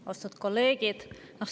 Austatud kolleegid!